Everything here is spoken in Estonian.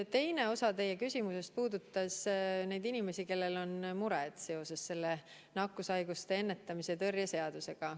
Teine osa teie küsimusest puudutas neid inimesi, kellel on mure seoses selle nakkushaiguste ennetamise ja tõrje seadusega.